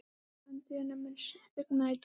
Adríana, mun rigna í dag?